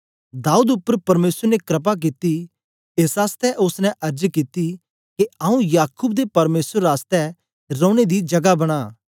दाऊद उपर परमेसर ने क्रपा कित्ती एस आसतै ओसने अर्ज कित्ती के आंऊँ याकूब दे परमेसर आसतै रौने दी जगा बना